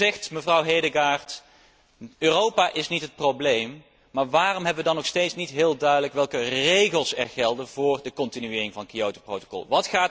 U zegt, mevrouw Hedegaard, Europa is niet het probleem, maar waarom hebben we dan nog steeds niet heel duidelijk welke regels er gelden voor de continuering van het Kyotoprotocol.